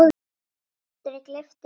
andri, gleypti Bylgja.